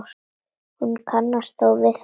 Hún kannast þó við það.